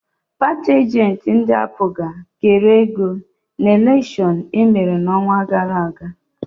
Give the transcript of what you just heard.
Paatị ajentị ndị APGA kere ego n'elekshon emere n'ọnwa gara aga.